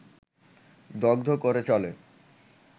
দগ্ধ করে চলে